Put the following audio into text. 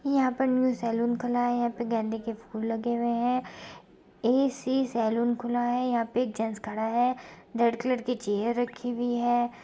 यहाँ पर new salon खुला है | यहाँ पे गेंदे के फूल लगे हुए हैं | एसी सलून खुला है | यहाँ पे एक जेंट्स खड़ा है रेड कलर की चेयर रखी हुई है।